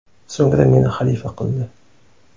So‘ngra meni xalifa qildi.